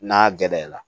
N'a gɛrɛla